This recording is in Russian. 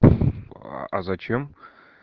зачем